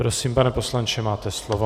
Prosím, pane poslanče, máte slovo.